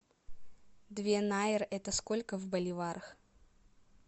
две найры это сколько в боливарах